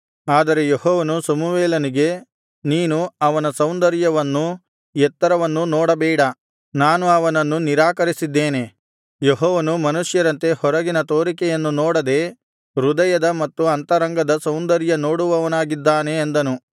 ಆದರೆ ಯೆಹೋವನು ಸಮುವೇಲನಿಗೆ ನೀನು ಅವನ ಸೌಂದರ್ಯವನ್ನೂ ಎತ್ತರವನ್ನೂ ನೋಡಬೇಡ ನಾನು ಅವನನ್ನು ನಿರಾಕರಿಸಿದ್ದೇನೆ ಯೆಹೋವನು ಮನುಷ್ಯರಂತೆ ಹೊರಗಿನ ತೋರಿಕೆಯನ್ನು ನೋಡದೆ ಹೃದಯದ ಮತ್ತು ಅಂತರಂಗದ ಸೌಂದರ್ಯ ನೋಡುವವನಾಗಿದ್ದಾನೆ ಅಂದನು